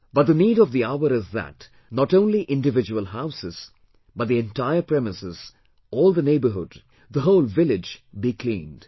But the need of the hour is that not only individual houses but the entire premises, all the neighbourhood, the whole village be cleaned